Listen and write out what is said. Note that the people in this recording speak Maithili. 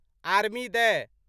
आर्मी दय